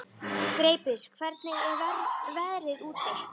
Greipur, hvernig er veðrið úti?